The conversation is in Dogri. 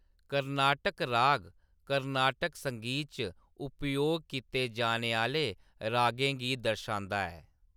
कर्नाटक राग कर्नाटक संगीत च उपयोग कीते जाने आह्‌‌‌ले रागें गी दर्शांदा ऐ।